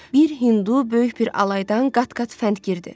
Bir hindu böyük bir alaydan qat-qat fəndgirdir.